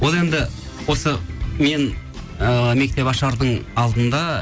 ол енді осы мен ыыы мектеп ашардың алдында